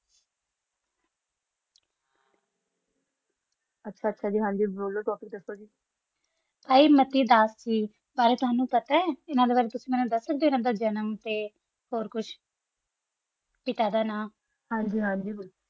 ਆਚਾ ਆਚਾ ਹਨ ਜੀ ਬੋਲੋ ਤੁਸੀਂ topic ਦਸਤੀ ਅਨਾ ਬਾਰਾ ਤੋਹਾਨੋ ਪਤਾ ਆ ਅਨਾ ਬਰਾਤੁਸੀ ਦਸ ਸਕਦਾ ਜਾ ਅਨਾ ਦਾ ਜਨਮ ਓਰ ਕੁਛ ਪਤਾ ਦਾ ਨਾ